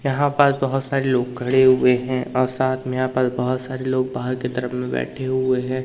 यहां पर बहुत सारे लोग खड़े हुए हैं और साथ में यहां पर बहुत सारे लोग बाहर के तरफ में बैठे हुए हैं।